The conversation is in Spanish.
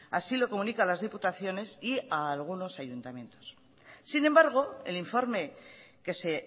así lo comunican las diputaciones y a algunos ayuntamientos sin embargo el informe que se